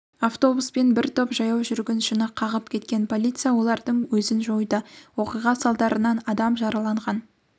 автобуспен бір топ жаяу жүргіншіні қағып кеткен полиция олардың өзін жойды оқиға салдарынан адам жараланған